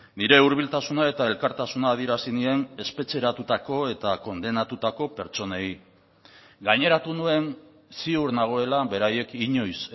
nire hurbiltasuna eta elkartasuna adierazi nien espetxeratutako eta kondenatutako pertsonei gaineratu nuen ziur nagoela beraiek inoiz